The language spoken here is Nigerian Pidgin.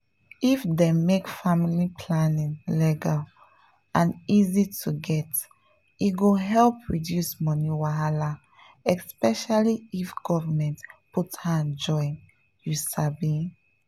if dem make family planning legal and easy to get e go help reduce money wahala — especially if government put hand join you understand?